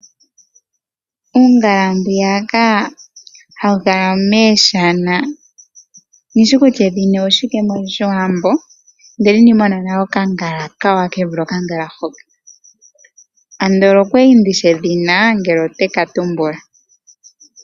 Uungala mbwiyaka hawu kala miishana, kandi shi kutya edhina oshike mOshiwambo, ndele inandi mona nale okangala okawanawa ke vule okangala hoka. Andola onda li ndi shi edhina, andola otandi ka tumbula.